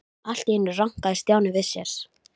Allt í einu rankaði Stjáni við sér.